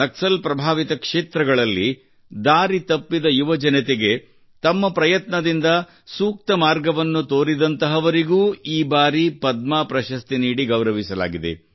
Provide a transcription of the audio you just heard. ನಕ್ಸಲ್ ಪ್ರಭಾವಿತ ಕ್ಷೇತ್ರಗಳಲ್ಲಿ ದಾರಿ ತಪ್ಪಿದ ಯುವಜನತೆಗೆ ತಮ್ಮ ಪ್ರಯತ್ನದಿಂದ ಸೂಕ್ತ ಮಾರ್ಗವನ್ನು ತೋರಿದಂತಹವರಿಗೂ ಈ ಬಾರಿ ಪದ್ಮ ಪ್ರಶಸ್ತಿ ನೀಡಿ ಗೌರವಿಸಲಾಗಿದೆ